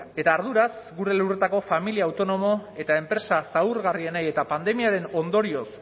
eta arduraz gure lurretako familia autonomo eta enpresa zaurgarrienei eta pandemiaren ondorioz